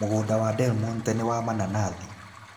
Mũgũnda wa Delmonte nĩ wa mananathi.